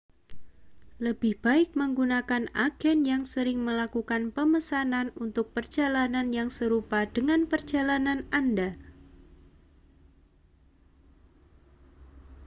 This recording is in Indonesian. lebih baik menggunakan agen yang sering melakukan pemesanan untuk perjalanan yang serupa dengan perjalanan anda